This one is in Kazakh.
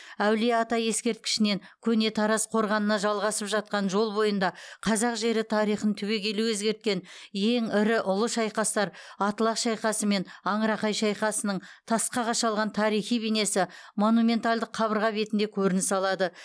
әулие ата ескерткішінен көне тараз қорғанына жалғасып жатқан жол бойында қазақ жері тарихын түбегейлі өзгерткен ең ірі ұлы шайқастар атлах шайқасы мен аңырақай шайқасының тасқа қашалған тарихи бейнесі монументалдық қабырға бетінде көрініс алады